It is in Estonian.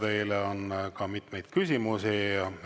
Teile on ka mitmeid küsimusi.